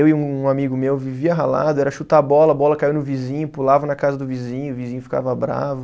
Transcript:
Eu e um amigo meu vivia ralado, era chutar bola, a bola caiu no vizinho, pulava na casa do vizinho, o vizinho ficava bravo.